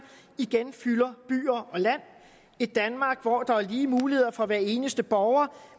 igen fylder byer og land et danmark hvor der er lige muligheder for hver eneste borger